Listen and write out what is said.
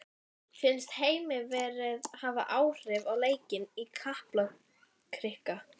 Fannst Heimi veðrið hafa áhrif á leikinn í Kaplakrika?